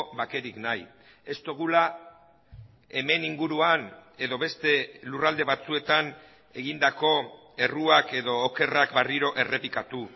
bakerik nahi ez dugula hemen inguruan edo beste lurralde batzuetan egindako erruak edo okerrak berriro errepikatu